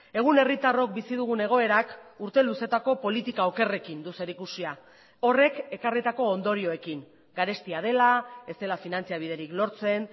egun herritarrok bizi dugun egoerak urte luzeetako politika okerrekin du zerikusia horrek ekarritako ondorioekin garestia dela ez dela finantza biderik lortzen